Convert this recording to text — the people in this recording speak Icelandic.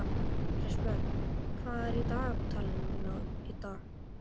Kristberg, hvað er á dagatalinu mínu í dag?